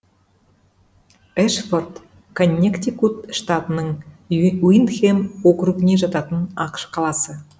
эшфорд коннектикут штатының уиндхэм округіне жататын ақш қаласы